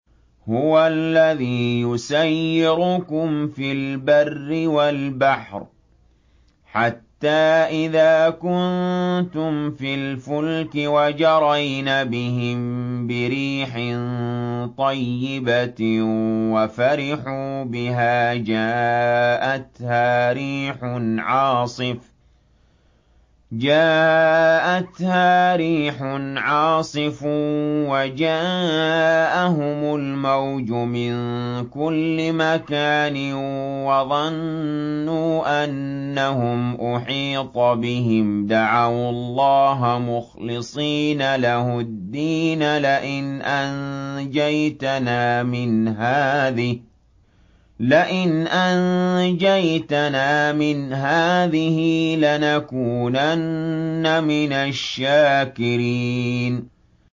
هُوَ الَّذِي يُسَيِّرُكُمْ فِي الْبَرِّ وَالْبَحْرِ ۖ حَتَّىٰ إِذَا كُنتُمْ فِي الْفُلْكِ وَجَرَيْنَ بِهِم بِرِيحٍ طَيِّبَةٍ وَفَرِحُوا بِهَا جَاءَتْهَا رِيحٌ عَاصِفٌ وَجَاءَهُمُ الْمَوْجُ مِن كُلِّ مَكَانٍ وَظَنُّوا أَنَّهُمْ أُحِيطَ بِهِمْ ۙ دَعَوُا اللَّهَ مُخْلِصِينَ لَهُ الدِّينَ لَئِنْ أَنجَيْتَنَا مِنْ هَٰذِهِ لَنَكُونَنَّ مِنَ الشَّاكِرِينَ